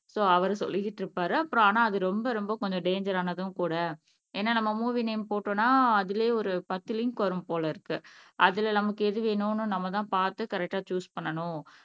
so அவரு சொல்லிக்கிட்டு இருப்பாரு அப்புறம் ஆனா அது ரொம்ப ரொம்ப கொஞ்சம் டேஞ்சர் ஆனதும் கூட ஏன்னா நம்ம மூவி நேம் போட்டோம்ன்னா அதிலேயே ஒரு பத்து லிங்க் வரும் போல இருக்கு அதுல நமக்கு எது வேணும்ன்னு நம்மதான் பார்த்து கரெக்ட்டா சூஸ் பண்ணணும்